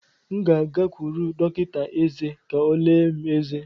M ga-agakwuru dọkịta eze ka ọ lelee eze m.